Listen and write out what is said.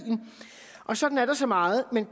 og sådan er der så meget men